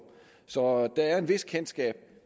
så der er et vist kendskab